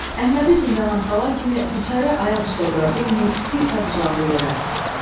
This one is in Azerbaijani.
Əhmədi zindana salan kimi biçarə ayaq üstə dura bilməyib tir-tap uzandı yerə.